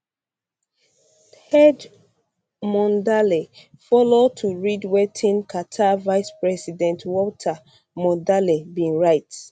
ted mondale follow to read wetin carter vice president walter mondale bin write